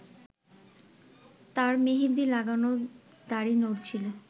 তাঁর মেহেদি লাগানো দাড়ি নড়ছিল